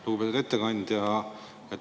Lugupeetud ettekandja!